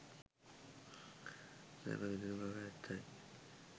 සැප විඳින බව ඇත්තයි.